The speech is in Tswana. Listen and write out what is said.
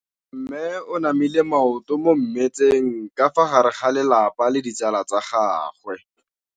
Mme o namile maoto mo mmetseng ka fa gare ga lelapa le ditsala tsa gagwe.